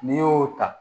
N'i y'o ta